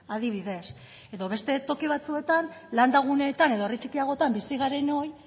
adibidez edo beste toki batzuetan landa guneetan edo herri txikiagotan bizi garenoi